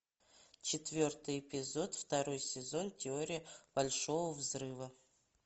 четвертый эпизод второй сезон теория большого взрыва